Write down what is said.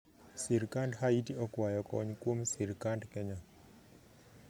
Sirkand haiti okwayo kony kwom sirkand kenya